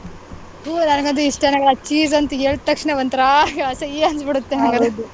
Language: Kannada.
ತು ನಂಗಂತೂ ಇಷ್ಟನೆ ಆಗಲ್ಲ cheese ಅಂತೂ ಹೇಳಿದ್ ತಕ್ಷಣ ಒಂತರ ಅಸಯ್ಯ ಅನ್ಸ್ಬಿಡುತ್ತೆ ನಂಗಂತೂ .